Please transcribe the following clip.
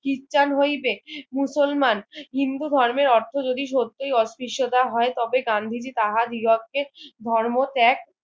খ্রিস্টান হইবে মুসলমান হিন্দু ধর্মের অর্থ যদি সত্যিই অত্রিষ্টতা হয় তবে গান্ধীজি তাহার দ্বিগকে ধর্ম ত্যাগ